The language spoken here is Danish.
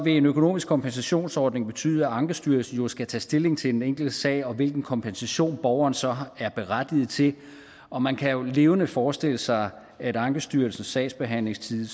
en økonomisk kompensationsordning jo betyde at ankestyrelsen skal tage stilling til den enkelte sag og hvilken kompensation borgeren så er berettiget til og man kan jo levende forestille sig at ankestyrelsens sagsbehandlingstid